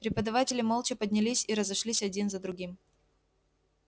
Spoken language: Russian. преподаватели молча поднялись и разошлись один за другим